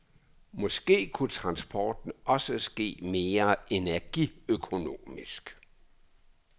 Måske kunne transporten også ske mere energiøkonomisk.